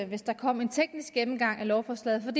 hvis der kom en teknisk gennemgang af lovforslaget for